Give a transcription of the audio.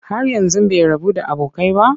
Har yanzu bai rabu da abokai ba?